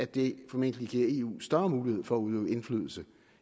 det formentlig eu større mulighed for at udøve indflydelse